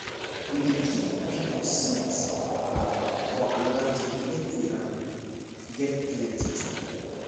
we dey give people seeds um for another town make we um get plenty type